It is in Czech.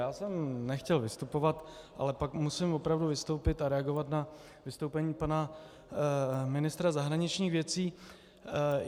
Já jsem nechtěl vystupovat, ale pak musím opravdu vystoupit a reagovat na vystoupení pana ministra zahraničních věcí.